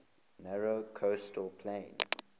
narrow coastal plain